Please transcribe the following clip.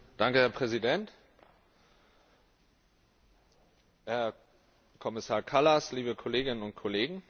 Herr Präsident, Herr Kommissar Kallas, liebe Kolleginnen und Kollegen!